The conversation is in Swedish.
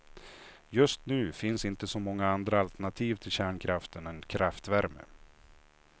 Just nu finns inte så många andra alternativ till kärnkraften än kraftvärme.